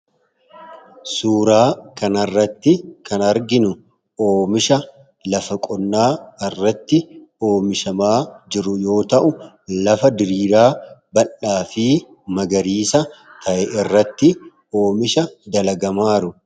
Suuraa kan arratti kan arginu oomisha lafa qonnaa irratti oomishamaa jiru yoo ta'u lafa diriiraa balaa fi magariisa ta'e irratti oomisha dalagamaaru.